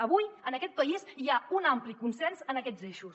avui en aquest país hi ha un ampli consens en aquests eixos